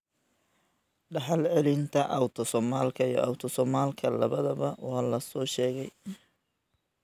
Dhaxal-celinta autosomalka iyo autosomalka labadaba waa la soo sheegay.